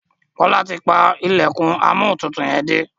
Kola ti pá ilẹkùn Amóhuntutù yén dé.